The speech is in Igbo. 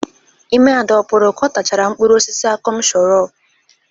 Ime Ada ọ pụrụ ka ọ tachara mkpụrụ osisi akọm shọrọp?